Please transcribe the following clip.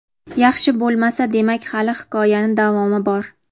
Yaxshi bo‘lmasa demak hali hikoyani davomi bor.